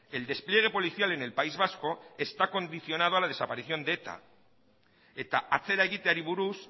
el despliegue policial en el país vasco está condicionado a la desaparición de eta eta atzera egiteari buruz